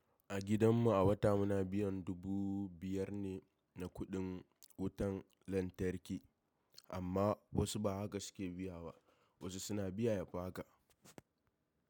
A gidan mu a wata muna biyan dubu biyar ne na kuɗin wutan lantarki amma wasu ba haka suke biya ba, wasu suna biya yafi haka.